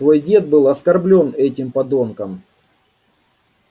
твой дед был оскорблён этим подонком